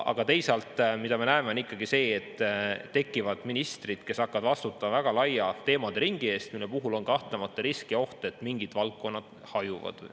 Aga teisalt me näeme ikkagi seda, et tekivad ministrid, kes hakkavad vastutama väga laia teemaderingi eest, mille puhul on kahtlemata risk ja oht, et mingid valdkonnad hajuvad.